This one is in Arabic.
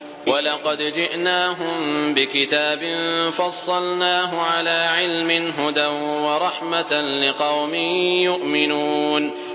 وَلَقَدْ جِئْنَاهُم بِكِتَابٍ فَصَّلْنَاهُ عَلَىٰ عِلْمٍ هُدًى وَرَحْمَةً لِّقَوْمٍ يُؤْمِنُونَ